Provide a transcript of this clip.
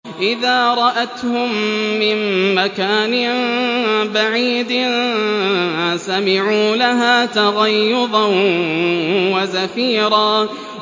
إِذَا رَأَتْهُم مِّن مَّكَانٍ بَعِيدٍ سَمِعُوا لَهَا تَغَيُّظًا وَزَفِيرًا